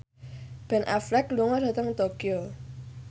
Ben Affleck lunga dhateng Tokyo